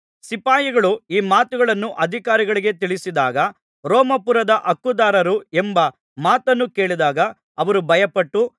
ಸಿಪಾಯಿಗಳು ಈ ಮಾತುಗಳನ್ನು ಅಧಿಕಾರಿಗಳಿಗೆ ತಿಳಿಸಿದಾಗ ರೋಮಾಪುರದ ಹಕ್ಕುದಾರರು ಎಂಬ ಮಾತನ್ನು ಕೇಳಿದಾಗ ಅವರು ಭಯಪಟ್ಟರು